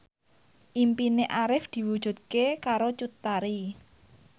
impine Arif diwujudke karo Cut Tari